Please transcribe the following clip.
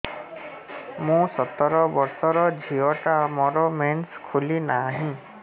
ମୁ ସତର ବର୍ଷର ଝିଅ ଟା ମୋର ମେନ୍ସେସ ଖୁଲି ନାହିଁ